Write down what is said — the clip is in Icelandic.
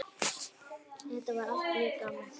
Þetta var allt mjög gaman.